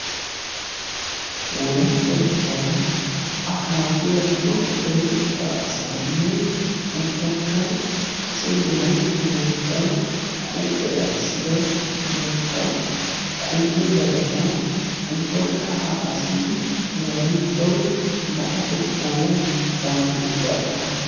wolaytta gutaran a kaafiya cora deretettaa asaanne ubbakka kase wolaytta moottaa huuphe ayssida mantta kumbbe dagata ubbakka ha asi wolayttau la''atettaw baaxetidaagaa